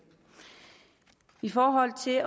i forhold til